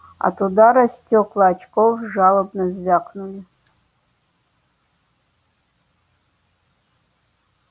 от удара стёкла очков жалобно звякнули